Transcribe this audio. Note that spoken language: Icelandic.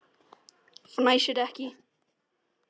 Fnæsir ekki.